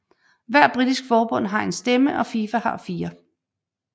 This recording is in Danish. Hvert britisk forbund har en stemme og FIFA har fire